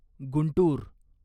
Guntur